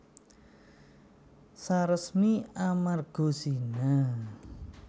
Saresmi amarga zina